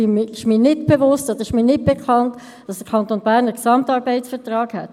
Es ist mir nicht bekannt, dass der Kanton Bern einen Gesamtarbeitsvertrag hätte.